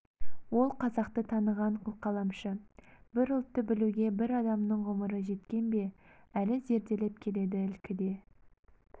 ол қазақты таныған қылқаламшы бір ұлтты білуге бір адамның ғұмыры жеткен бе әлі зерделеп келеді ілкіде